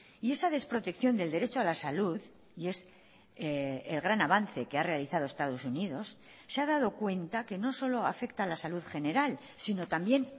y esa desprotección del derecho a la salud y es el gran avance que ha realizado estados unidos se ha dado cuenta que no solo afecta a la salud general sino también